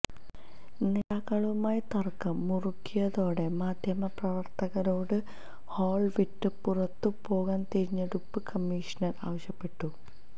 നേതാക്കളുമായി തര്ക്കം മുറുകിയതോടെ മാധ്യമപ്രവര്ത്തകരോട് ഹാള് വിട്ട് പുറത്തു പോകാന് തിരഞ്ഞെടുപ്പ് കമ്മിഷണര് ആവശ്യപ്പെട്ടു